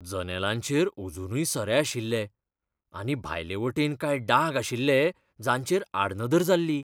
जनेलांचेर अजूनय सरे आशिल्ले, आनी भायलेयवटेन कांय डाग आशिल्ले जांचेर आडनदर जाल्ली.